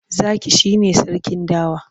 Zaki shi ne sarkin dawa.